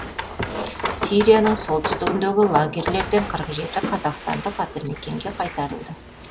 сирияның солтүстігіндегі лагерьлерден қырық жеті қазақстандық атамекенге қайтарылды